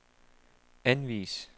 anvis